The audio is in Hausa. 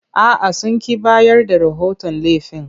A'a, sun ƙi bayar da rahoton laifin.